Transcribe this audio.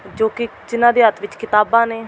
ਜੋ ਕਿ ਜਿਨ੍ਹਾਂ ਦੇ ਹੱਥ ਵਿੱਚ ਕਿਤਾਬਾਂ ਨੇ।